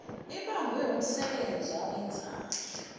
ibangwe wumsebenzi awenzayo